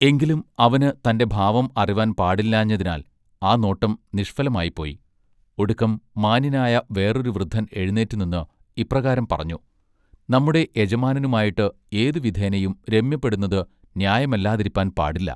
എങ്കിലും അവന് തന്റെ ഭാവം അറിവാൻ പാടില്ലാഞ്ഞതിനാൽ ആ നോട്ടം നിഷ്ഫലമായിപ്പോയി ഒടുക്കം മാന്യനായ വേറൊരു വൃദ്ധൻ എഴുനീറ്റ് നിന്ന് ഇപ്രകാരം പറഞ്ഞു: നമ്മുടെ യജമാനനുമായിട്ട് ഏതു വിധേനയും രമ്യപ്പെടുന്നത് ന്യായമല്ലാതിരിപ്പാൻ പാടില്ല.